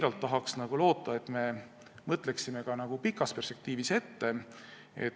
Ma tahan siiralt loota, et me mõtleme pikas perspektiivis ette.